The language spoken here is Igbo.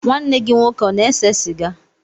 Nwanne gị nwoke ọ na-ese sịga?